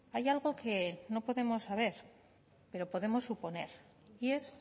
hay algo que no podemos saber pero podemos suponer y es